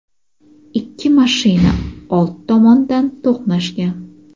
ikki mashina old tomondan to‘qnashgan.